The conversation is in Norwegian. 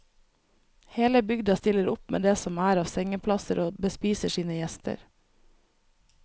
Hele bygda stiller opp med det som er av sengeplasser og bespiser sine gjester.